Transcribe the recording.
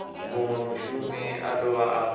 munwe mushumi a dovha a